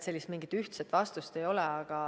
Sellist ühtset vastust ei ole.